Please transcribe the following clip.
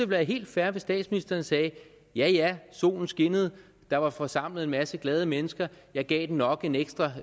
være helt fair hvis statsministeren sagde ja ja solen skinnede der var forsamlet en masse glade mennesker jeg gav den nok en ekstra